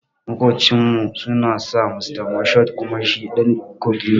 Makucin mu sunan sa Mr Moshood kuma shi ɗan kogi ne